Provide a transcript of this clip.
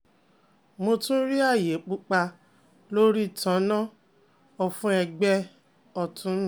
Mo tun ni aaye pupa lori tan-an-na ofun egbe otun mi